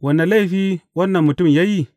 Wane laifi wannan mutum ya yi?